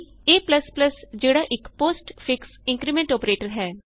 a ਜਿਹੜਾ ਇਕ postfix increment operator ਹੈ